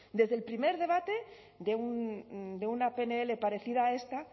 desde el primer debate de una pnl parecida a esta